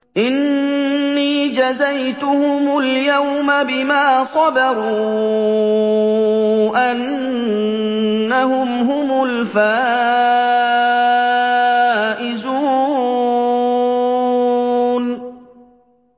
إِنِّي جَزَيْتُهُمُ الْيَوْمَ بِمَا صَبَرُوا أَنَّهُمْ هُمُ الْفَائِزُونَ